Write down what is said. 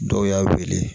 Dɔw y'a wele